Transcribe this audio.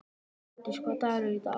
Glódís, hvaða dagur er í dag?